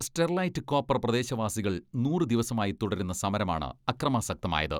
Sterlite copper പ്രദേശവാസികൾ നൂറു ദിവസമായി തുടരുന്ന സമരമാണ് അക്രമാസക്തമായത്.